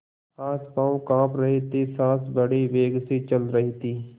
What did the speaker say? हाथपॉँव कॉँप रहे थे सॉँस बड़े वेग से चल रही थी